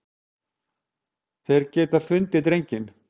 Þeir geta fundið drenginn.